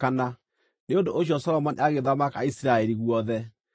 Nĩ ũndũ ũcio Solomoni agĩthamaka Isiraeli guothe.